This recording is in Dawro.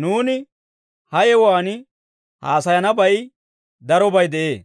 Nuuni ha yewuwaan haasayanabay darobay de'ee;